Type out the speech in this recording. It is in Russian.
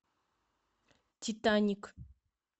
титаник